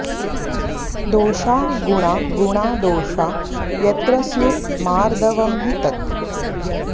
दोषा गुणा गुणा दोषा यत्र स्युर्मार्दवं हि तत्